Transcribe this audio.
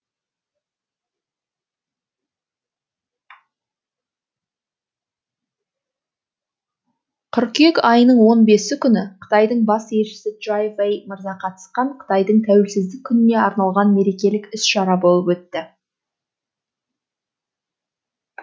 қыркүйек айының он бесі күні қытайдың бас елшісі чжай вэй мырза қатысқан қытайдың тәуелсіздік күніне арналған мерекелік іс шара болып өтті